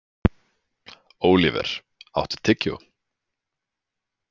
Óliver, áttu tyggjó?